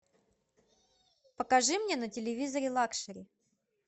покажи мне на телевизоре лакшери